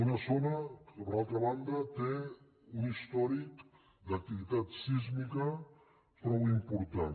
una zona que per altra banda té un històric d’activitat sísmica prou important